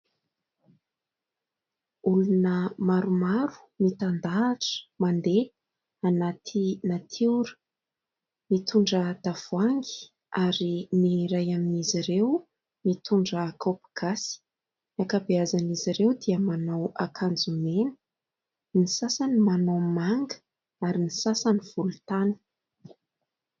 Olona maromaro mitandahatra, mandeha anaty natiora, mitondra tavohangy ary ny iray amin'izy ireo mitondra kaopy gasy ; ny ankabeazan'izy ireo dia manao akanjo mena, ny sasany manao manga ary ny sasany volontany.